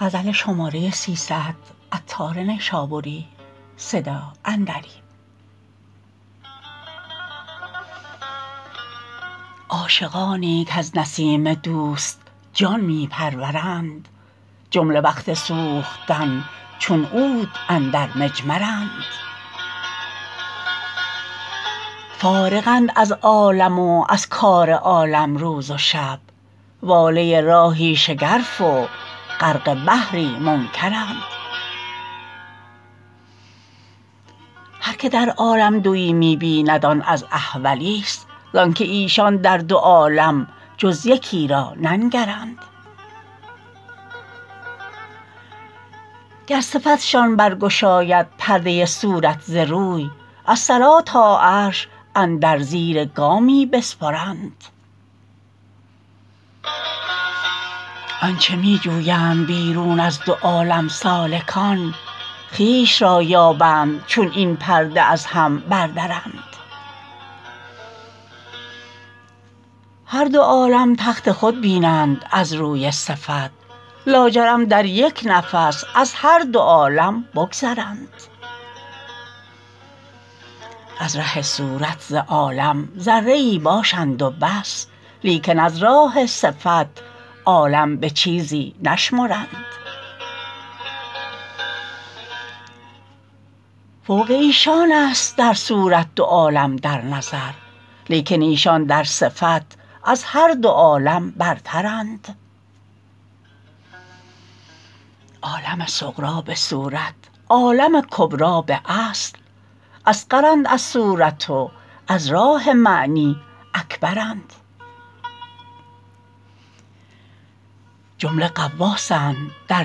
عاشقانی کز نسیم دوست جان می پرورند جمله وقت سوختن چون عود اندر مجمرند فارغند از عالم و از کار عالم روز و شب واله راهی شگرف و غرق بحری منکرند هر که در عالم دویی می بیند آن از احولی است زانکه ایشان در دو عالم جز یکی را ننگرند گر صفتشان برگشاید پرده صورت ز روی از ثری تا عرش اندر زیر گامی بسپرند آنچه می جویند بیرون از دوعالم سالکان خویش را یابند چون این پرده از هم بردرند هر دو عالم تخت خود بینند از روی صفت لاجرم در یک نفس از هر دو عالم بگذرند از ره صورت ز عالم ذره ای باشند و بس لیکن از راه صفت عالم به چیزی نشمرند فوق ایشان است در صورت دو عالم در نظر لیکن ایشان در صفت از هر دو عالم برترند عالم صغری به صورت عالم کبری به اصل اصغرند از صورت و از راه معنی اکبرند جمله غواصند در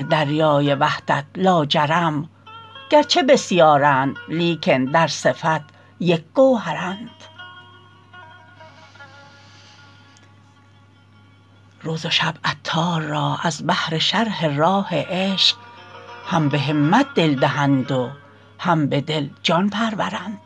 دریای وحدت لاجرم گرچه بسیارند لیکن در صفت یک گوهرند روز و شب عطار را از بهر شرح راه عشق هم به همت دل دهند و هم به دل جان پرورند